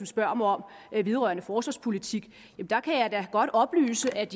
spørger mig om vedrørende forsvarspolitik kan jeg da godt oplyse at